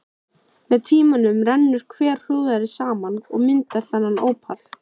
Með tímanum rennur hverahrúðrið saman og myndar þéttan ópal.